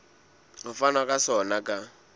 ho fanwa ka sona ka